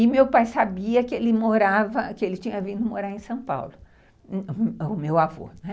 E meu pai sabia que ele tinha vindo morar em São Paulo, o meu avô.